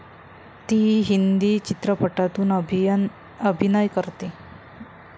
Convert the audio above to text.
ती हिंदी चित्रपटातून अभिनय करते.